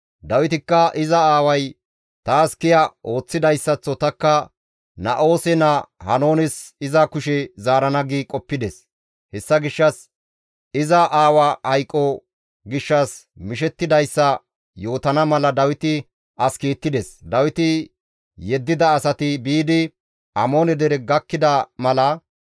Dawitikka, «Iza aaway taas kiya ooththidayssaththo tanikka Na7oose naa Haanoones iza kushe zaarana» gi qoppides. Hessa gishshas iza aawa hayqo gishshas mishettidayssa yootana mala Dawiti as kiittides; Dawiti yeddida asati biidi Amoone dere gakkida mala,